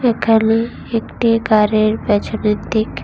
খালি একটি গাড়ির পেছনের দিক।